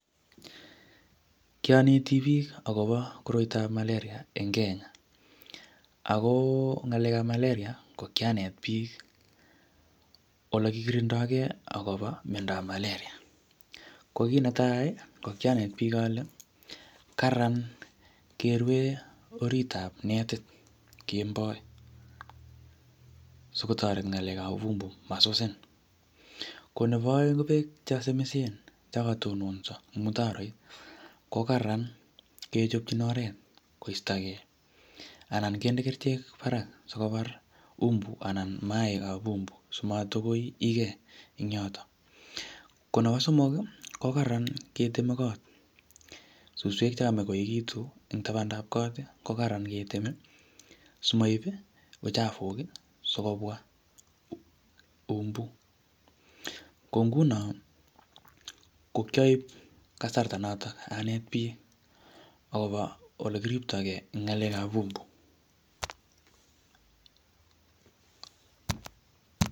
Kianeti biik akobo malaria en Kenya, ak ko ng'alekab malaria ko kianet biik olekikiindoke akobo miondab malaria, ko kii netaa ko kianet biik olee Karan kerwee oriitab netit en kemboi sikotoret ng'alekab umbu masusin, ko neboo oeng ko beek chesomisen chokotononso en mutaroit ko karan kechobchin oreet koistoke anan kindebkerichek kora sikobar umbu anan maikab umbu simatakoikee eng' yotok, ko nebo somok ko karan keteme koot suswek chekamach koekitun en tabantab koot ko Karan keteme simoib uchavuk sikobwa umbu, ko ng'unon ko kioib kasarta noton aneet biik akobo olekiriptokei en ng'alekab umbu.